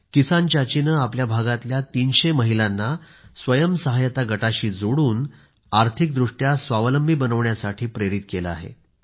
किसान चाचीने आपल्या भागातल्या 300 महिलांना स्वयंसहायता गटाशी जोडून आर्थिक दृष्ट्या स्वावलंबी बनण्यासाठी प्रेरित केलं आहे